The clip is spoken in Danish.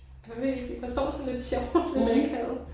Hvad med han står sådan lidt sjovt lidt akavet